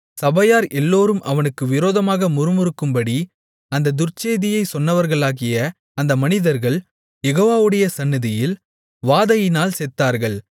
சபையார் எல்லோரும் அவனுக்கு விரோதமாக முறுமுறுக்கும்படி அந்தத் துர்ச்செய்தியைச் சொன்னவர்களாகிய அந்த மனிதர்கள் யெகோவாவுடைய சந்நிதியில் வாதையினால் செத்தார்கள்